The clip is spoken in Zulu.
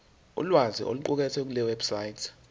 ulwazi oluqukethwe kulewebsite